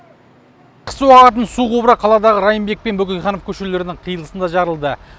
су ағатын құбыры қаладағы райымбек пен бөкейханов көшелерінің қиылысында жарылды